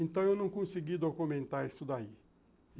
Então, eu não consegui documentar isso daí.